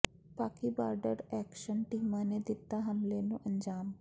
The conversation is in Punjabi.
ਪਾਕਿ ਬਾਰਡਰ ਐਕਸ਼ਨ ਟੀਮਾਂ ਨੇ ਦਿੱਤਾ ਹਮਲੇ ਨੂੰ ਅੰਜਾਮ